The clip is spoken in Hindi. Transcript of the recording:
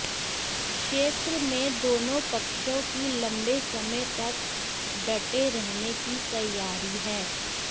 क्षेत्र में दोनों पक्षों की लंबे समय तक डटे रहने की तैयारी है